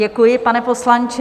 Děkuji, pane poslanče.